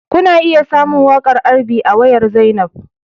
Kuna iya samun waƙar R&B a wayar Zainab